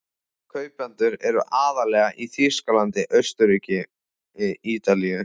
Kaupendur eru aðallega í Þýskalandi, Austurríki, Ítalíu